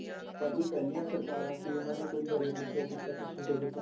ਪਰ ਜੋ ਪਹਿਲੀਆਂ ਸਰਕਾਰਾਂ ਸੀ ਉਨ੍ਹਾਂ ਨੇ ਕੋਈ budget ਨਹੀਂ show ਕੀਤਾ ਕੁੱਜ ਨਈਂ show ਕੀਤਾ